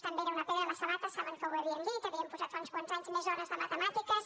també era una pedra a la sabata saben que ho havíem dit havíem posat fa uns quants anys més hores de matemàtiques